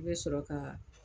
I bɛ sɔrɔ ka